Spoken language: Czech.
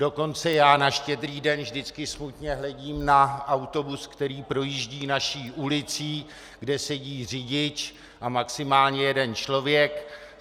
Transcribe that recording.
Dokonce já na Štědrý den vždycky smutně hledím na autobus, který projíždí naší ulicí, kde sedí řidič a maximálně jeden člověk.